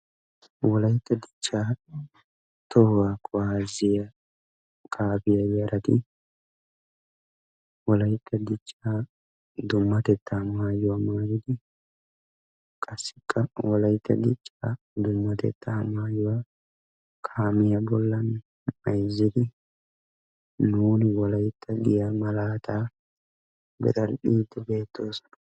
wolaytta dichaa tohuwaa kuwaasiya kaafiya yarati wolaytta dichha maayuwa maayidi qassi nuuni wolaytta yaagiya maayuwa maayidi eqqidaageeti beetoosona.